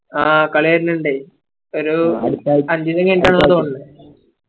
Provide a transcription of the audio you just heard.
ആ കളിയരുന്നുണ്ട് ഒരു അഞ്ചോസം കൈനീട്ടാ തോന്നു